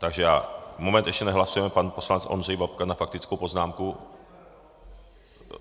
Takže já... moment, ještě nehlasujeme, pan poslanec Ondřej Babka na faktickou poznámku.